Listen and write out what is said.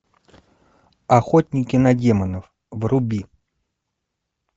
охотники на демонов вруби